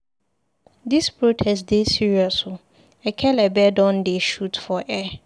Dis protest dey serious o, ekelebe don dey shoot for air.